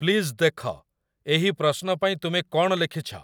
please ଦେଖ, ଏହି ପ୍ରଶ୍ନ ପାଇଁ ତୁମେ କ'ଣ ଲେଖିଛ